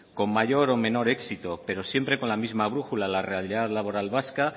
con mayor o menos éxito pero siempre con la misma brújula la realidad laboral vasca